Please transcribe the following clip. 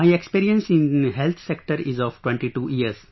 My experience in health sector is of 22 years